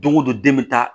Don go don den bɛ taa